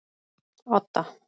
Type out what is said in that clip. Odda